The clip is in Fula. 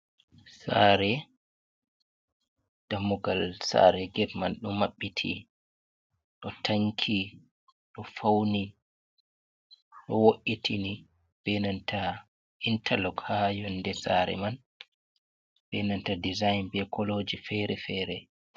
Sare dammugal sare gat man ɗo mabbiti. Ɗo tanki ɗo fauni, ɗo wo’itini benanta intarlok ha yonɗe sare man. benanta ɗisain be koloji fere-fere.